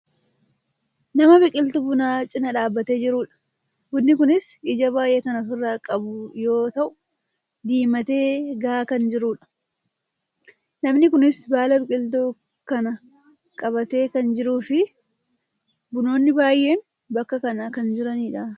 nama biqiltuu bunaa cinaa dhaabbatee jirudha. Bunni kunis ija baayyee kan ofirraa qabu yo ta'u , diimatee gahaa kan jirudha. namni kunis baala biqiltuu kanaa qabatee kan jiruufi bunoonni baayyeen bakka kana kan jiranidha.